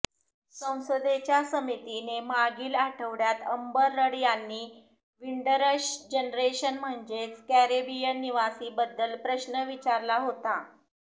संसदेच्या समितीने मागील आठवडय़ात अंबर रड यांनी विंडरश जेनरेशन म्हणजेच कॅरेबियन निवासींबद्दल प्रश्न विचारला होता